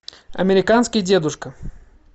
американский дедушка